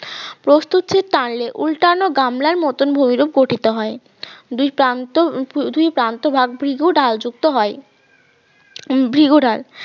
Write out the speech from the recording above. প্রস্থচ্ছে টানলে উল্টালো গামলার মতন ভূমিরূপ গঠিত হয় দুই প্রান্ত দুই প্রান্ত ভাগ ভ্রিগু ঢাল যুক্ত হয় ভ্রিগু ঢাল